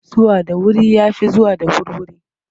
Zuwa da wuri ya fi zuwa da wurwuri.